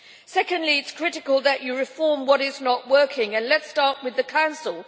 Secondly, it is critical that you reform what is not working, and let us start with the Council.